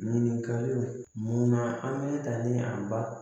Ɲininkaliw mun na an bɛ taa ni a